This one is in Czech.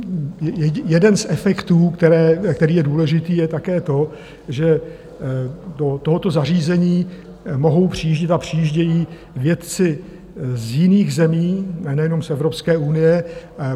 Jeden z efektů, který je důležitý, je také to, že do tohoto zařízení mohou přijíždět a přijíždějí vědci z jiných zemí, nejenom z Evropské unie.